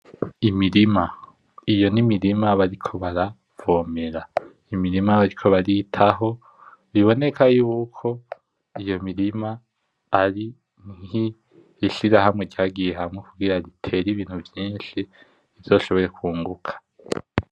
Imirima ,iyo n'imirima bariko baravomera ,Imirima bariko baritaho biboneka yuko iyo mirima ari nk 'Ishirahamwe ryagiye hamwe kugira ritere ibintu vyinshi ,rizoshobore kwunguka.